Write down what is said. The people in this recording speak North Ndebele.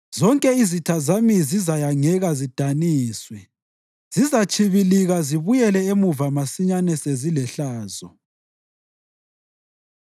Zonke izitha zami zizayangeka zidaniswe; zizatshibilika zibuyele emuva masinyane sezilehlazo.